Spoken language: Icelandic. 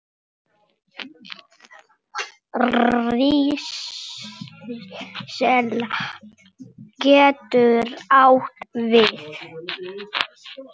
Hrísla getur átt við